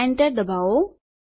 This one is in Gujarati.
Enter દબાવો